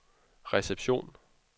reception